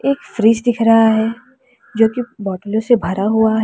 एक फ्रिज दिख रहा है जो कि बाटलो से भरा हुआ है।